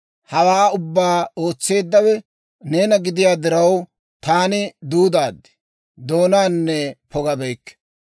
Hawaa ubbaa ootseeddawe neena gidiyaa diraw, taani duudaad; Doonaanne pogabeykke.